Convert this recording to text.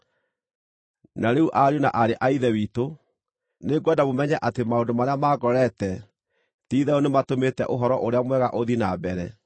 Na rĩu ariũ na aarĩ a Ithe witũ, nĩngwenda mũmenye atĩ maũndũ marĩa mangorete ti-itherũ nĩmatũmĩte Ũhoro-ũrĩa-Mwega ũthiĩ na mbere.